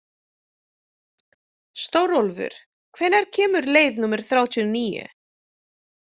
Stórólfur, hvenær kemur leið númer þrjátíu og níu?